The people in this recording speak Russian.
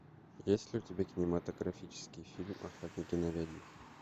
есть ли у тебя кинематографический фильм охотники на ведьм